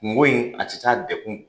Kungo in,a ti taa dekun kɔ.